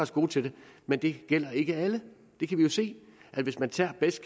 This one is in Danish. gode til det men det gælder ikke alle det kan vi jo se hvis man tager best